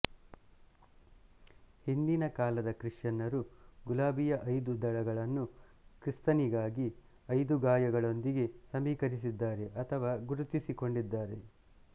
ಹಿಂದಿನ ಕಾಲದ ಕ್ರಿಶ್ಚಿಯನ್ನರು ಗುಲಾಬಿಯ ಐದು ದಳಗಳನ್ನು ಕ್ರಿಸ್ತನಿಗಾದ ಐದು ಗಾಯಗಳೊಂದಿಗೆ ಸಮೀಕರಿಸಿದ್ದಾರೆ ಅಥವಾ ಗುರುತಿಸಿಕೊಂಡಿದ್ದಾರೆ